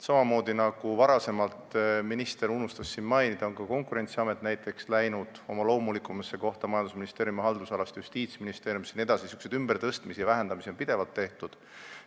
Samamoodi nagu varem läks näiteks Konkurentsiamet oma loomulikumasse kohta, majandusministeeriumi haldusalast Justiitsministeeriumi haldusalasse jne, on ümbertõstmisi ja vähendamisi pidevalt tehtud.